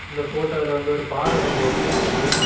இந்த ஃபோட்டோல வந்து ஒரு பாற குண்டு ஒன்னு இருக்கு.